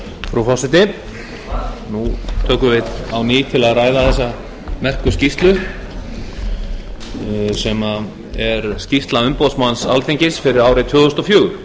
frú forseti nú tökum við á ný til að ræða þessa merku skýrslu sem er skýrsla umboðsmanns alþingis fyrir árið tvö þúsund og fjögur